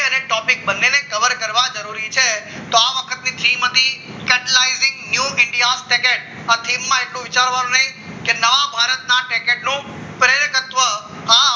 અને topic બંને cover કરવા જરૂરી છે તો આ વખતની ફીમ હતી કેટલાય ઝીંગ ન્યુ ઇન્ડિયા સેકેટ આથી માં એટલું વિચારવાનું નહીં કે નવા ભારતના કેટલું તત્વ